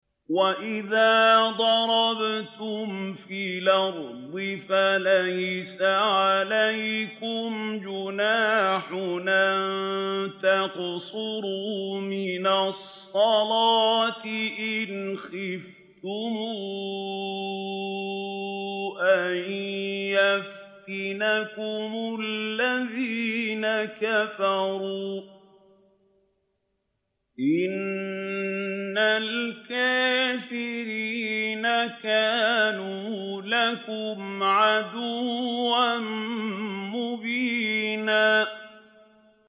وَإِذَا ضَرَبْتُمْ فِي الْأَرْضِ فَلَيْسَ عَلَيْكُمْ جُنَاحٌ أَن تَقْصُرُوا مِنَ الصَّلَاةِ إِنْ خِفْتُمْ أَن يَفْتِنَكُمُ الَّذِينَ كَفَرُوا ۚ إِنَّ الْكَافِرِينَ كَانُوا لَكُمْ عَدُوًّا مُّبِينًا